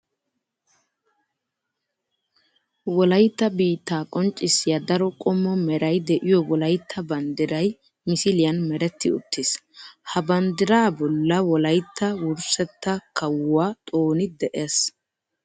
Wolaytta biitta qonccisiya daro qommo meray de'iyo wolaytta banddiray misiliyan meretti uttiis. Ha banddira bolla wolaytta wurssetta kawuwa xooni de'ees.